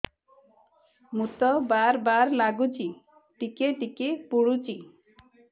ମୁତ ବାର୍ ବାର୍ ଲାଗୁଚି ଟିକେ ଟିକେ ପୁଡୁଚି